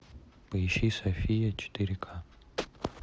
поищи софия четыре ка